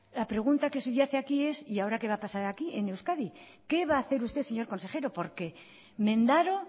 la pregunta que subyace aquí es y ahora qué va a pasar aquí en euskadi qué va a hacer usted señor consejero porque mendaro